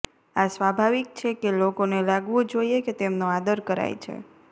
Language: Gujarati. આ સ્વાભાવિક છે કે લોકોને લાગવું જોઇએ કે તેમનો આદર કરાય છે